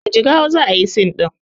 A jigawa za ayi scene ɗin